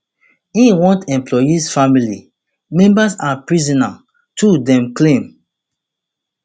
im want employees family members and prisoner too dem claim